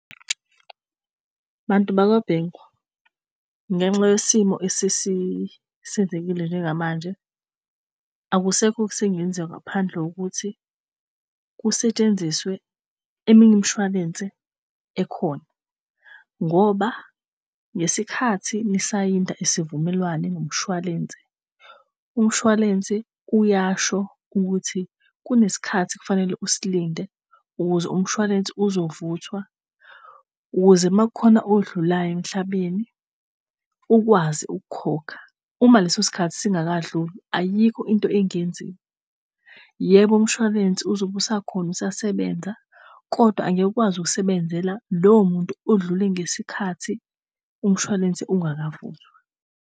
Abantu bakwa Bank ngenxa yesimo esiyenzekile njengamanje akusekho sengenziwa ngaphandle kokuthi kusetshenziswe eminye umshwalense ekhona. Ngoba ngesikhathi nisaphinde isivumelwano nomshwalense umshwalense kuyasho ukuthi kunesikhathi ekufanele usalinde umshwalense ozovulwa ukuze uma kukhona odlulayo emhlabeni ukwazi ukukhokha uma lesosikhathi zingakadluli. Ayikho into engenziwa. Yebo, umshwalense uzobe usakhona usasebenza, kodwa angeke ukwazi ukuzisebenzela lowomuntu odlule ngesikhathi umshwalense ungakavuki